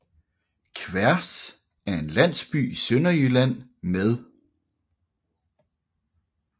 Kværs er en landsby i Sønderjylland med